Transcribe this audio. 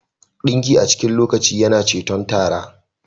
Dinki a cikin lokaci yana ceton tara